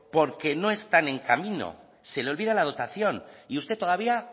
porque no están en camino se le olvida la dotación y usted todavía